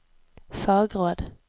fagråd